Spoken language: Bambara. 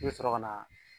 I bɛ sɔrɔ ka na